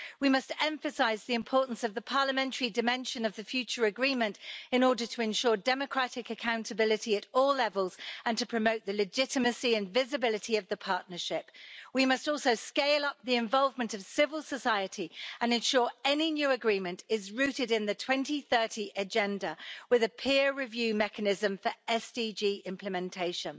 We must emphasise the importance of the parliamentary dimension of the future agreement in order to ensure democratic accountability at all levels and to promote the legitimacy and visibility of the partnership. We must also scale up the involvement of civil society and ensure any new agreement is rooted in the 2030 Agenda with a peer review mechanism for SDG implementation.